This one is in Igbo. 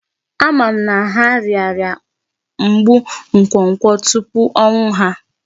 Ama m na ha rịara mgbu nkwokwo tupu ọnwụ ha.